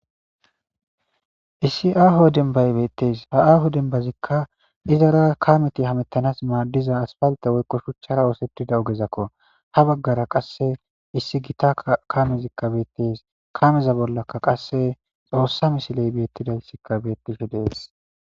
issi aaho denbay beettees ha aahu denbazikka izara kameti hamettanas maaddiza asfalte woykqo shuchchara oosetida ogezakko ha baggara qasse issi gita kamezikka beettes kameza bollakka qasse xoossa misiley beettidalsikka beettishi dees